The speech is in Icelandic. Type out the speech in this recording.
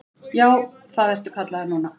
Já, það ertu kallaður núna.